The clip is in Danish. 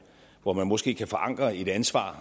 hvor man måske kan forankre et ansvar